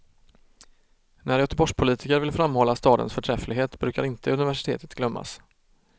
När göteborgspolitiker vill framhålla stadens förträfflighet brukar inte universitetet glömmas.